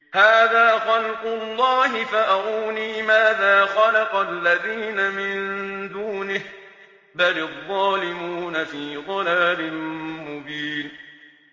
هَٰذَا خَلْقُ اللَّهِ فَأَرُونِي مَاذَا خَلَقَ الَّذِينَ مِن دُونِهِ ۚ بَلِ الظَّالِمُونَ فِي ضَلَالٍ مُّبِينٍ